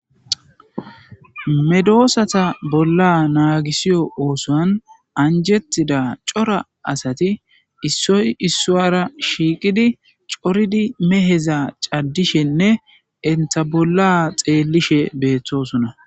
medoosata bolla naagisiyo oosoan anjettida cora asati issoy issowara shiiqidi coridi meheza caddishenne enta bolla xeellishe beethtosona